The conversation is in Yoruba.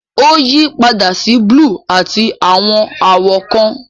Ó yípadà sí búlúù àti àwọn àwọ̀ kan.